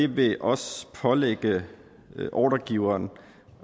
vil også pålægge ordregiveren